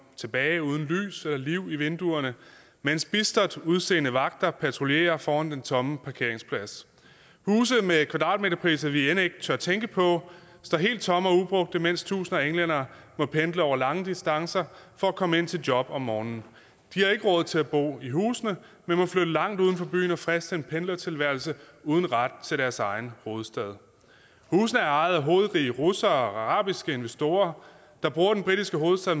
tilbage uden lys og liv i vinduerne mens bistert udseende vagter patruljerer foran den tomme parkeringsplads huse med kvadratmeterpriser vi end ikke tør tænke på står helt tomme og ubrugte mens tusinder af englændere må pendle over lange distancer for at komme ind til job om morgenen de har ikke råd til at bo i husene men må flytte langt uden for byen og friste en pendlertilværelse uden ret til deres egen hovedstad husene er ejet af hovedrige russere og arabiske investorer der bruger den britiske hovedstad